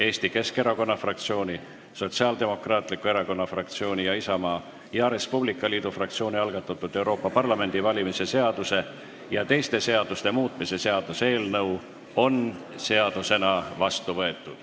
Eesti Keskerakonna fraktsiooni, Sotsiaaldemokraatliku Erakonna fraktsiooni ning Isamaa ja Res Publica Liidu fraktsiooni algatatud Euroopa Parlamendi valimise seaduse ja teiste seaduste muutmise seaduse eelnõu on seadusena vastu võetud.